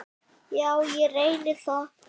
Já, ég reyni það.